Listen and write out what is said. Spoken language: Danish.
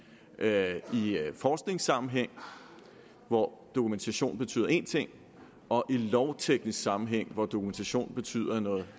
forskningssammenhæng hvor dokumentation betyder én ting og i lovteknisk sammenhæng hvor dokumentation jo betyder noget